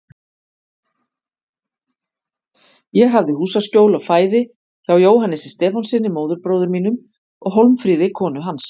Ég hafði húsaskjól og fæði hjá Jóhannesi Stefánssyni, móðurbróður mínum, og Hólmfríði, konu hans.